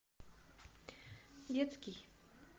детский